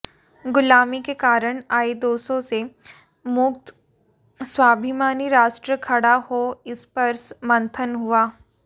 गुलामी के कारण आए दोषों से मुक्त स्वाभिमानी राष्ट्र खडा हो इस पर मंथन हुआ